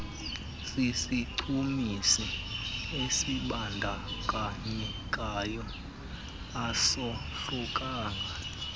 sisichumisi esibandakanyekayo azohlukanga